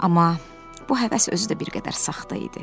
Amma bu həvəs özü də bir qədər saxta idi.